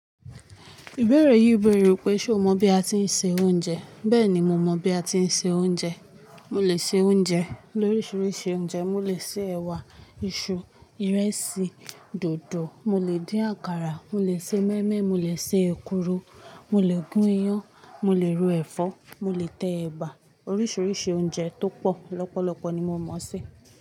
Ìbéèrè yìí bèèrè wípé ṣé o mọ bí a tí ń se oúnjẹ? Bẹ́ẹ̀ni mo mọ bí a tí ń se oúnjẹ. Mo lè se oúnjẹ, lórisìírísi oúnjẹ. Mo lè se ẹ̀wà, iṣu, ìrẹsì, dòdò. Mo lè dín àkàrà, mo lè se mọ́ímọ́í, mo lè se èkuru, mo lè gún iyán, mo lè ro ẹ̀fọ́, mo lè tẹ ẹ̀bà. Orísìírísi oúnjẹ tó pọ̀ lọ́pọ̀lọpọ̀ ni mo mọ̀ sé.